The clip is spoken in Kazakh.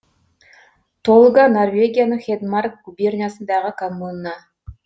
толга норвегияның хедмарк губерниясындағы коммуна